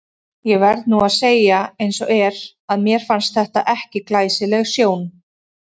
Ég verð nú að segja eins og er, að mér fannst þetta ekki glæsileg sjón.